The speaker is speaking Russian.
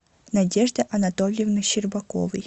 надежды анатольевны щербаковой